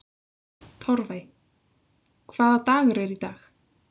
Torfey, hvaða dagur er í dag?